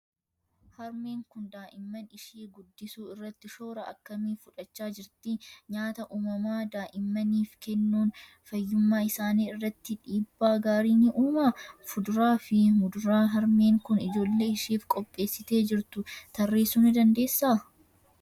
Harmeen kun daa'imman ishii guddisuu irratti shoora akkamii fudhachaa jirti? Nyaata uumamaa daa'immaniif kennuun fayyummaa isaanii irratti dhiibbaa gaarii ni uumaa? Fuduraa fi muduraa harmeen kun ijoollee isheef qopheessitee jirtu tarreessuu ni dandeessaa?